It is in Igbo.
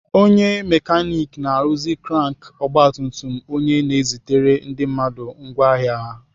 Onye mekanik na-arụzi krank ọgbatumtum onye na-ezitere ndị mmadụ ngwá ahịa ha.